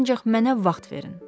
Ancaq mənə vaxt verin.